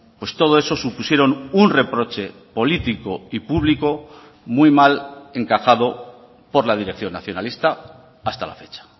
pues todo eso supusieron un reproche político y público muy mal encajado por la dirección nacionalista hasta la fecha